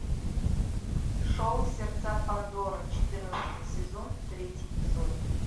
шоу сердца пандоры четырнадцатый сезон третий эпизод